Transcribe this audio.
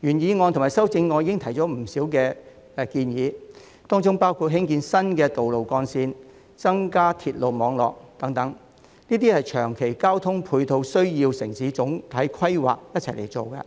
原議案及修正案已提出不少建議，當中包括興建新道路幹線、加建鐵路網絡等，這些長期交通配套的落實需要與城市總體規劃同時進行，